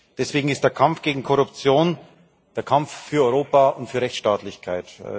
Deswegen ist der Kampf gegen Korruption der Kampf für Europa und für Rechtsstaatlichkeit.